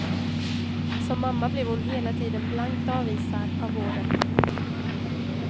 Som mamma blev hon hela tiden blankt avvisad av vården.